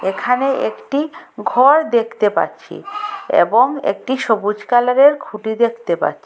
এখানে একটি ঘর দেখতে পাচ্ছি এবং একটি সবুজ কালারের খুঁটি দেখতে পাচ্ছি।